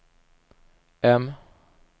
M